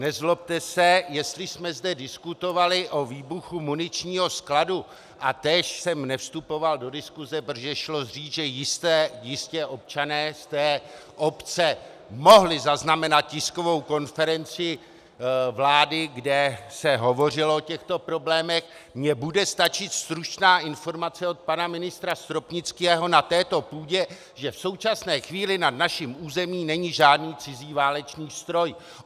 Nezlobte se, jestli jsme zde diskutovali o výbuchu muničního skladu a též jsem nevstupoval do diskuse, protože šlo říct, že jistě občané z té obce mohli zaznamenat tiskovou konferenci vlády, kde se hovořilo o těchto problémech, mně bude stačit stručná informace od pana ministra Stropnického na této půdě, že v současné chvíli nad naším územím není žádný cizí válečný stroj.